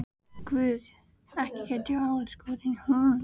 Guð, ekki gæti ég orðið skotin í honum.